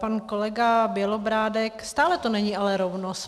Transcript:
Pan kolega Bělobrádek - stále to není ale rovnost.